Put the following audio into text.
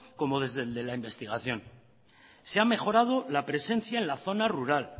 como desde la investigación se ha mejorado la presencia en la zona rural